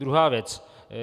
Druhá věc.